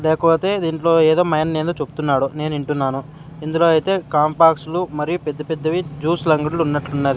లేకపోతే దీంట్లో ఏదో మాయన్ ఏందో చొప్తున్నాడు నేనింటున్నాను ఇందులో ఐతే కంపాక్సులు మరియు పెద్దపెద్దవి జ్యూస్ లంగడ్లు ఉన్నట్లున్నాది.